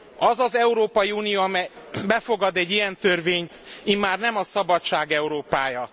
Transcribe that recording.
Az az Európai Unió, amely befogad egy ilyen törvényt, immár nem a szabadság Európája.